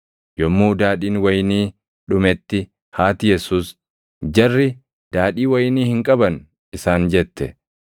Yommuu Daadhiin wayinii dhumetti haati Yesuus, “Jarri daadhii wayinii hin qaban” isaan jette.